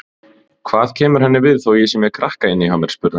Hvað kemur henni við þó ég sé með krakka inni hjá mér, spurði hann.